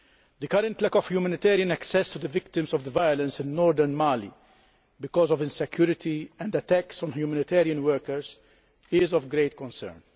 The current lack of humanitarian access to the victims of the violence in northern Mali, because of insecurity and attacks on humanitarian workers, is of great concern.